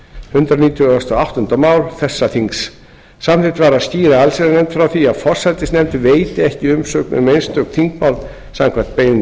hundrað nítugasta og áttunda mál þessa þings samþykkt var að skýra allsherjarnefnd frá því að forsætisnefnd veiti ekki umsögn um einstök þingmál samkvæmt beiðni